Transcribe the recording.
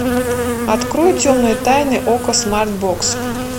открой темные тайны окко смарт бокс